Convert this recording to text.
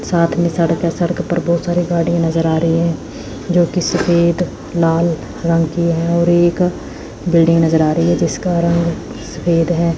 साथ में सड़क या सड़क पर बहुत सारे गाड़ियां नजर आ रही है जो की सफेद लाल रंग की है और एक बिल्डिंग नजर आ रही है जिसका रंग सफेद है।